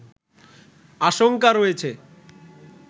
আশংকা রয়েছে